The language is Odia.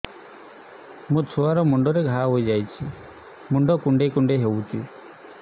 ମୋ ଛୁଆ ମୁଣ୍ଡରେ ଘାଆ ହୋଇଯାଇଛି ମୁଣ୍ଡ କୁଣ୍ଡେଇ ହେଉଛି